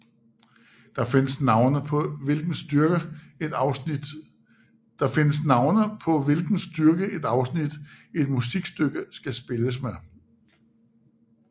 Der findes navne på hvilken styrke et afsnit i et musikstykke skal spilles med